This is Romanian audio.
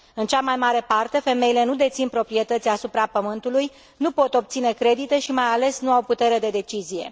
În cea mai parte, femeile nu dețin proprietăți asupra pământului, nu pot obține credite și, mai ales, nu au putere de decizie.